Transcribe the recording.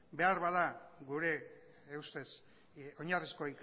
beharbada gure ustez oinarrizko